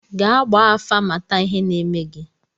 Gaa gbaa afa, mata ihe na-eme gị!